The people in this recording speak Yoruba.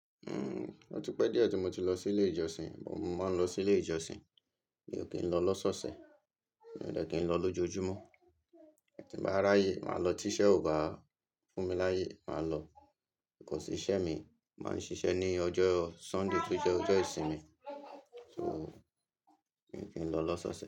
Uhm, ọ̀ ti pẹ́ díẹ̀ tí mo ti lọ sí ilé ìjọsìn, mo máa ń lọ sí ilé ìjọsìn. Mi ò kí ń lọ lọ́sọ́ṣẹ̀, mi ò dẹ́ kí ń lọ lójoojúmọ́. Tí mo bá ráyè, máa lọ tí iṣẹ́ ò bá fún mi láyè, máa lọ. Because iṣẹ́ mi máa ń ṣiṣẹ́ ní ọjọ́ Sunday tó jẹ́ ọjọ́ ìsinmi, so mi ò kí ń lọ lọ́sọ́ṣẹ̀